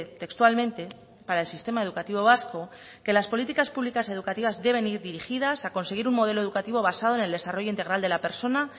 textualmente para el sistema educativo vasco que las políticas públicas educativas deben ir dirigidas a conseguir un modelo educativo basado en el desarrollo integral de la persona